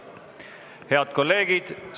Head kolleegid!